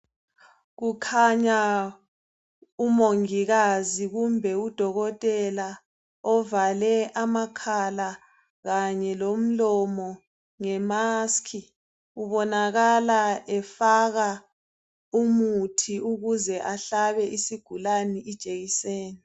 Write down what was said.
Kukhanya umongikazi kumbe udokotela ovale amakhala kanye lomlomo ngemask ubonakala efaka umuthi ukuze ehlabe isigulani ijekiseni